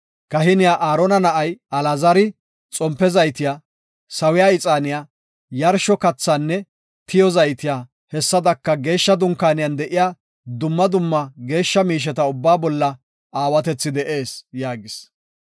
“Kahiniya Aarona na7ay Alaazari xompe zaytiya, sawiya ixaaniya, yarsho kathaanne tiyo zaytiya, hessadaka Geeshsha Dunkaaniyan de7iya dumma dumma geeshsha miisheta ubbaa bolla aawatethi de7ees” yaagis.